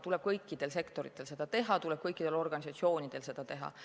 Tuleb kõikidel sektoritel seda teha, tuleb kõikidel organisatsioonidel seda teha.